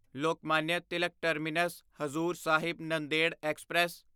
Lokmanya Tilak terminus Hazur Sahib Nanded express